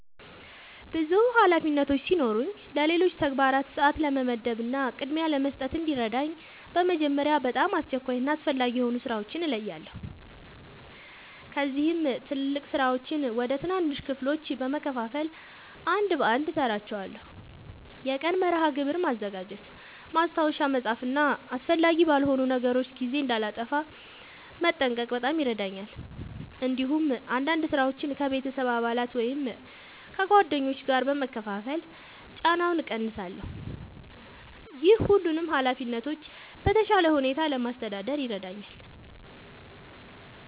ብዙ ኃላፊነቶች ሲኖሩኝ ለሌሎች ተግባራት ሰአት ለመመደብ እና ቅድሚያ ለመስጠት እንዲረዳኝ በመጀመሪያ በጣም አስቸኳይ እና አስፈላጊ የሆኑ ሥራዎችን እለያለሁ። ከዚያም ትላልቅ ሥራዎችን ወደ ትናንሽ ክፍሎች በመከፋፈል አንድ በአንድ እሠራቸዋለሁ። የቀን መርሃ ግብር ማዘጋጀት፣ ማስታወሻ መጻፍ እና አስፈላጊ ባልሆኑ ነገሮች ጊዜ እንዳላጠፋ መጠንቀቅ በጣም ይረዳኛል። እንዲሁም አንዳንድ ሥራዎችን ከቤተሰብ አባላት ወይም ከጓደኞች ጋር በመካፈል ጫናውን እቀንሳለሁ። ይህ ሁሉንም ኃላፊነቶች በተሻለ ሁኔታ ለማስተዳደር ይረዳኛል።